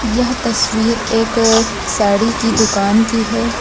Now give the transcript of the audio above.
यह तस्वीर एक साड़ी की दुकान की है।